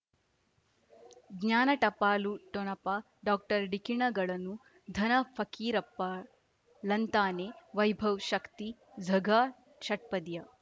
ಜ್ಞಾನ ಟಪಾಲು ಠೊಣಪ ಡಾಕ್ಟರ್ ಢಿಕ್ಕಿ ಣಗಳನು ಧನ ಫಕೀರಪ್ಪ ಳಂತಾನೆ ವೈಭವ್ ಶಕ್ತಿ ಝಗಾ ಷಟ್ಪದಿಯ